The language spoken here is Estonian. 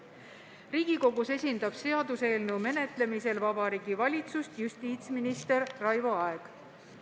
Riigikogus seaduseelnõu menetlemisel esindab Vabariigi Valitsust justiitsminister Raivo Aeg.